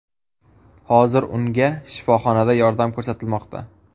Hozir unga shifoxonada yordam ko‘rsatilmoqda.